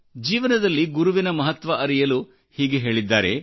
ಜೀವನದಲ್ಲಿ ಗುರುವಿನ ಮಹತ್ವ ಅರಿಯಲು ಹೀಗೆ ಹೇಳಿದ್ದಾರೆ